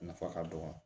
Nafa ka dɔgɔ